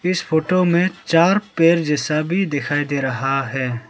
इस फोटो में चार पेड़ जैसा भी दिखाई दे रहा है।